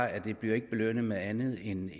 at det ikke bliver belønnet med andet en